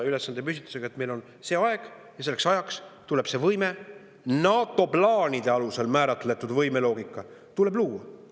Ülesandepüstitus näeb ette, et meil on selline aeg ja selleks ajaks tuleb see võime – NATO plaanide alusel määratletud võimeloogika – luua.